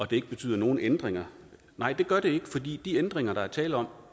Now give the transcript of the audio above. det ikke betyder nogen ændringer nej det gør det ikke fordi de ændringer der er tale om